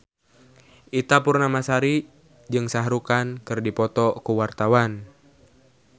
Ita Purnamasari jeung Shah Rukh Khan keur dipoto ku wartawan